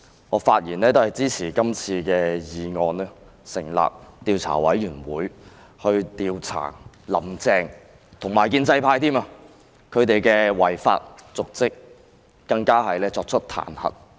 我發言也是要支持今次的議案，成立獨立調查委員會，以調查"林鄭"和建制派的違法瀆職行為，更要作出彈劾。